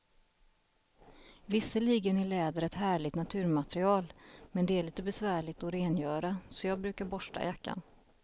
Visserligen är läder ett härligt naturmaterial, men det är lite besvärligt att rengöra, så jag brukar borsta jackan.